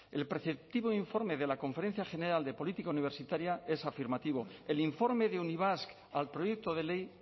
el preceptivo informe de la conferencia general de política universitaria es afirmativo el informe de unibasq al proyecto de ley